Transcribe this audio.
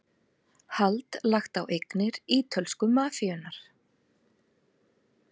Hald lagt á eignir ítölsku mafíunnar